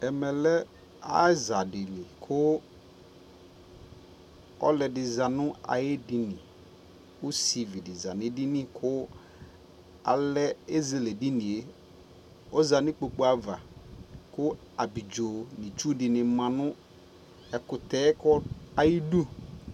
ɛmɛ lɛ aza dili kʋ ɔlʋɛdi zanʋ ayiɛ dini, ɔsivi dizanʋ ɛdini kʋ alɛ ɛzɛlɛ ɛdiniɛ ɔza nʋ ikpɔkʋ aɣa kʋ abidzɔ nʋ itsʋ dini manʋ ɛkʋ ayidʋ